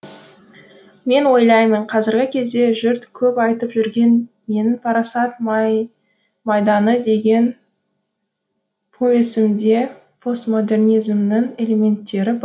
мен ойлаймын қазіргі кезде жұрт көп айтып жүрген менің парасат майданы деген повесімде постмодернизмнің элементтері